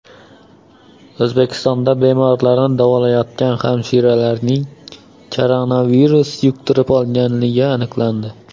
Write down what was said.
O‘zbekistonda bemorlarni davolayotgan hamshiraning koronavirus yuqtirib olgani aniqlandi.